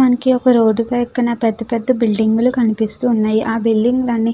మనకి ఆ రోడ్డు పక్కన పెద్ద పెద్ద బిల్డింగు లు కనిపిస్తూ ఉన్నాయి. ఆ బిల్డింగు లన్నీ